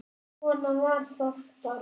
Svona var það bara.